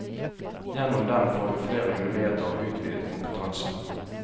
Gjennom dem får vi flere muligheter og utvidet kompetanse.